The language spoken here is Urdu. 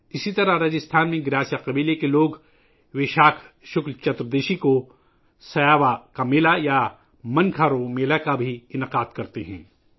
اسی طرح راجستھان میں گراسیا قبائل کے لوگ ویساکھ شکل چتر دشی کو ' سیاوا کا میلا '، یا ' منکھارو میلہ ' کا انعقاد کرتے ہیں